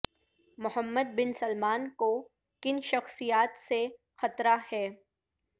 محمد bin Salman کو کن شخصیات سے خطرہ ہے